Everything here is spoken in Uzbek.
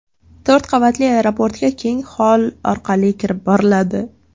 To‘rt qavatli aeroportga keng xoll orqali kirib boriladi.